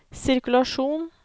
sirkulasjon